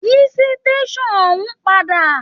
Yí sitasan òun padà!